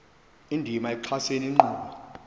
indima ekuxhaseni inkqubo